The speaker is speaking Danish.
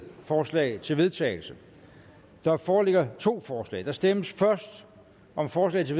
forslag til vedtagelse der foreligger to forslag der stemmes først om forslag til